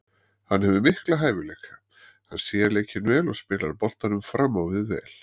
Hann hefur mikla hæfileika, hann sér leikinn vel og spilar boltanum fram á við vel.